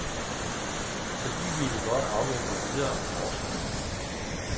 Så de ville godt afvente videre forskning.